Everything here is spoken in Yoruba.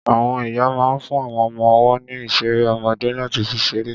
Àwọn ìyá ma ń fún àwọn ọmọ ọwọ́ ní ìṣeré ọmọdé láti fi ṣeré.